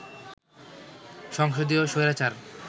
সংসদীয় স্বৈরাচার